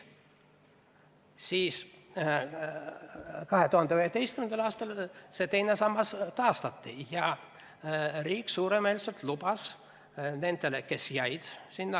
2011. aastal teine sammas taastati ja riik andis suuremeelselt lubadusi nendele, kes sinna pidama jäid.